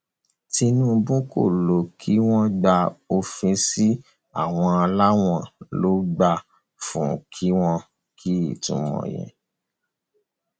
unintelligible